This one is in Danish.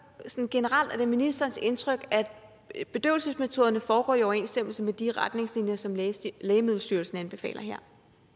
sådan generelt om det er ministerens indtryk at bedøvelsesmetoderne foregår i overensstemmelse med de retningslinjer som lægemiddelstyrelsen anbefaler her